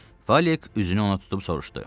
Falik üzünü ona tutub soruşdu.